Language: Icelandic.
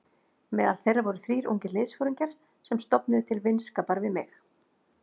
Meðal þeirra voru þrír ungir liðsforingjar sem stofnuðu til vinskapar við mig.